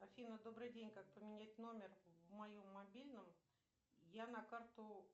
афина добрый день как поменять номер в моем мобильном я на карту